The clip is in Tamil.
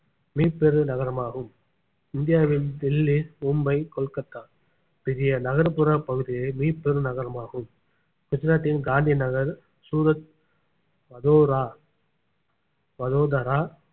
மீப்பெரு நகரமாகும் இந்தியாவில் டெல்லி மும்பை கொல்கத்தா பெரிய நகர்ப்புற பகுதியே மீப்பெரு நகரமாகும் குஜராத்தின் காந்தி நகர் சூரத் வதோரா வதோதரா